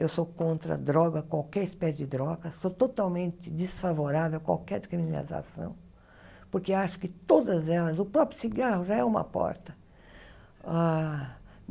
Eu sou contra droga, qualquer espécie de droga, sou totalmente desfavorável a qualquer descriminalização, porque acho que todas elas, o próprio cigarro já é uma porta. Ah